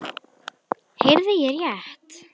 Heyrði ég rétt.